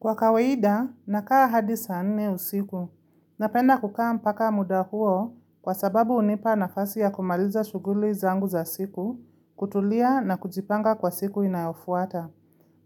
Kwa kawaida, nakaa hadi saa nne usiku. Napenda kukaa mpaka muda huo kwa sababu hunipa nafasi ya kumaliza shuguli zangu za siku, kutulia na kujipanga kwa siku inayofuata.